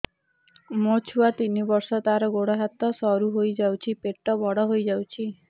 ମୋ ଛୁଆ ତିନି ବର୍ଷ ତାର ଗୋଡ ହାତ ସରୁ ହୋଇଯାଉଛି ପେଟ ବଡ ହୋଇ ଯାଉଛି